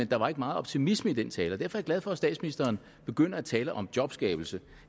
der var ikke meget optimisme i den tale derfor er jeg glad for at statsministeren begynder at tale om jobskabelse